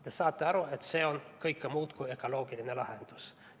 Te saate aru, et see on kõike muud kui ökoloogiline lahendus.